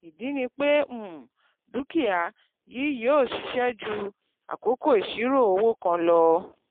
ìdí ni pé um dúkìá yìí yìó ṣiṣẹ́ ju àkókò ìṣirò owó kan lo